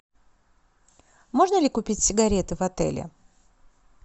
можно ли купить сигареты в отеле